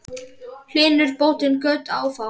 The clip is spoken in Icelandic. Hylur bótin göt ófá.